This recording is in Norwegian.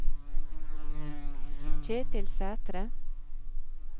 Ketil Sæthre